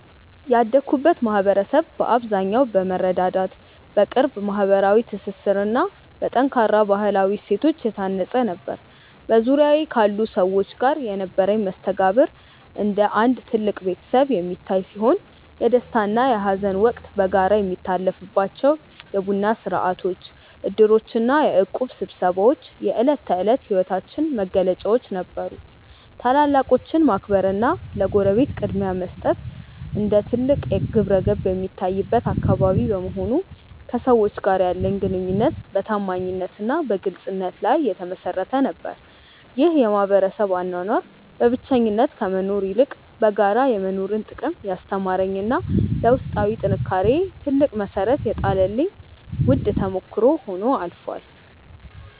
ያደግኩበት ማኅበረሰብ በአብዛኛው በመረዳዳት፣ በቅርብ ማኅበራዊ ትስስርና በጠንካራ ባሕላዊ እሴቶች የታነፀ ነበር። በዙሪያዬ ካሉ ሰዎች ጋር የነበረኝ መስተጋብር እንደ አንድ ትልቅ ቤተሰብ የሚታይ ሲሆን፣ የደስታና የሐዘን ወቅት በጋራ የሚታለፍባቸው የቡና ሥርዓቶች፣ ዕድሮችና የእቁብ ስብሰባዎች የዕለት ተዕለት ሕይወታችን መገለጫዎች ነበሩ። ታላላቆችን ማክበርና ለጎረቤት ቅድሚያ መስጠት እንደ ትልቅ ግብረገብ የሚታይበት አካባቢ በመሆኑ፣ ከሰዎች ጋር ያለኝ ግንኙነት በታማኝነትና በግልጽነት ላይ የተመሠረተ ነበር። ይህ የማኅበረሰብ አኗኗር በብቸኝነት ከመኖር ይልቅ በጋራ የመኖርን ጥቅም ያስተማረኝና ለውስጣዊ ጥንካሬዬ ትልቅ መሠረት የጣለልኝ ውድ ተሞክሮ ሆኖ አልፏል።